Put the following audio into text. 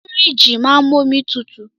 Fìríjìì máa ń mú omi tutù.